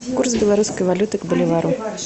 курс белорусской валюты к боливару